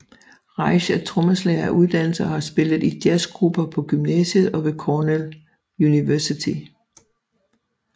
Reich er trommeslager af uddannelse og har spillet i jazzgrupper på gymnasiet og ved Cornell University